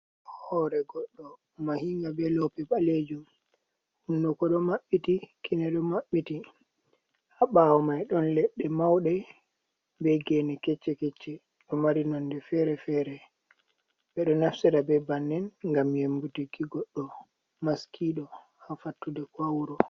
Hore goɗɗo mahinga be lope ɓalejum hunduko ɗo maɓɓiti kine ɗo maɓɓiti ha ɓawo mai ɗon leɗɗe mauɗe be gene kecce, kecce, ɗo mari nonde fere-fere ɓeɗo naftira be bannin ngam yembutiki goɗɗo maskiɗo ha fattude ko ha wuro.